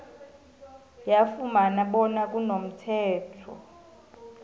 yafumana bona kunomthetho